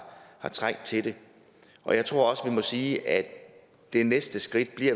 trængt til det og jeg tror også at vi må sige at det næste skridt